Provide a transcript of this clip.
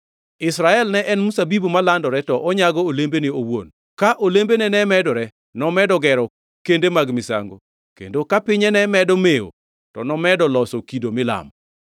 Israel ne en mzabibu malandore; ne onyago olembene owuon. Ka olembene ne medore, nomedo gero kende mag misango; kendo ka pinye ne medo mewo, to nomedo loso kido milamo.